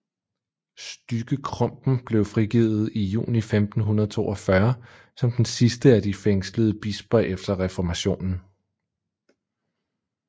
Stygge Krumpen blev frigivet juni 1542 som den sidste af de fængslede bisper efter reformationen